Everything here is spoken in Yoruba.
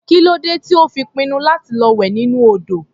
Kí ló dé tí ó fi pinnu láti lọ wẹ̀ nínú odò?